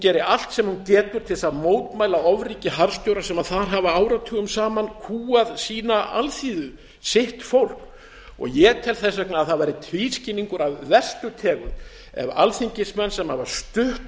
geri allt sem hún getur til þess að mótmæla ofríki harðstjóra sem þar hafa áratugum saman kúgað sína alþýðu sitt fólk ég tel þess vegna að það væri tvískinnungur af verstu tegund ef alþingismenn sem hafa stutt